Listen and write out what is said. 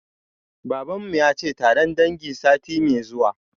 Baban mu yace taron dangi sati mai zuwa